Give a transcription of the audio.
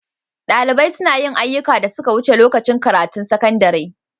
Dalibai suna yin ayyukan da suka wuce lokacin karatun sakandare.